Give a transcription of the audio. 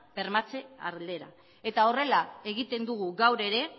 bermatze aldera eta horrela egiten dugu gaur ere